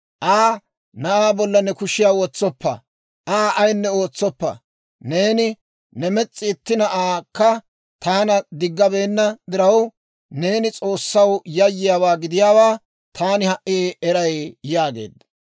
Aa, «Na'aa bollan ne kushiyaa wotsoppa; Aa ayinne ootsoppa; neeni ne mes's'i itti na'aakka taana diggabeenna diraw, neeni S'oossaw yayyiyaawaa gidiyaawaa taani ha"i eray» yaageedda.